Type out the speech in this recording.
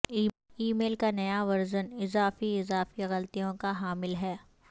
ای میل کا نیا ورژن اضافی اضافی غلطیوں کا حامل ہے